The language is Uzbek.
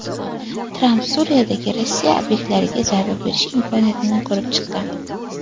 Tramp Suriyadagi Rossiya obyektlariga zarba berish imkoniyatini ko‘rib chiqqan.